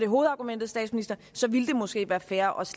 hovedargumentet ville det måske også være fair